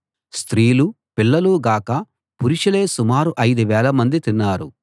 స్త్రీలూ పిల్లలూ గాక పురుషులే సుమారు ఐదు వేలమంది తిన్నారు